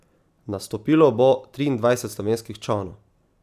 Nastopilo bo triindvajset slovenskih čolnov.